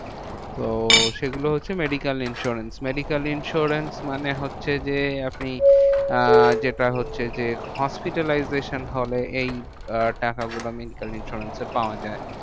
তো সেগুলো হচ্ছে medical insurance medical insurance মানে হচ্ছে যে, আপনি আহ যেটা হচ্ছে যে, hospitalization হলে এই আহ টাকাগুলো medical insurance এ পাওয়া যায়।